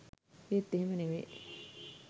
ඒත් එහෙම නෙවේ